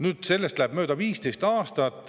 Nüüd läheb sellest mööda 15 aastat.